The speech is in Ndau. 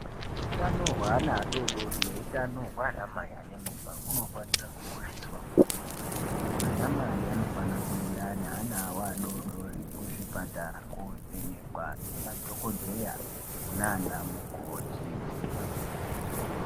Utano hweana adori dori neutano hwanamai ane mimba hunofanira kukosheswa kwemene. Anamai anofana kuenda neana awo adori dori kuzvipatara kovhenekwa ngemadhokodheya nanamukoti.